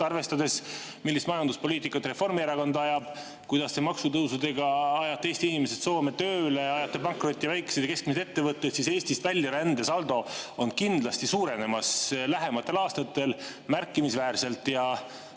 Arvestades, millist majanduspoliitikat Reformierakond ajab, seda, kuidas te maksutõusudega ajate Eesti inimesed Soome tööle, ajate pankrotti väikesed ja keskmised ettevõtted, siis Eestist väljaränne lähematel aastatel kindlasti märkimisväärselt suureneb.